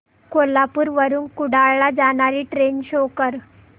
कोल्हापूर वरून कुडाळ ला जाणारी ट्रेन शो कर